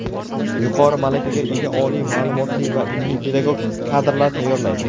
yuqori malakaga ega oliy ma’lumotli va ilmiy-pedagog kadrlar tayyorlaydi.